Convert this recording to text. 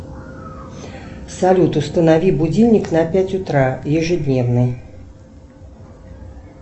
салют установи будильник на пять утра ежедневно